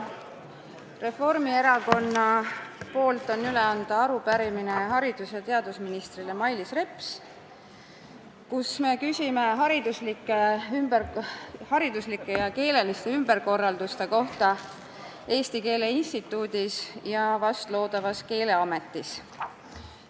Mul on Reformierakonna poolt üle anda haridus- ja teadusminister Mailis Repsile arupärimine, kus me küsime hariduslike ja keeleliste ümberkorralduste kohta Eesti Keele Instituudis ja loodavas Keeleametis.